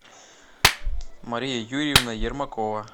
мария юрьевна ермакова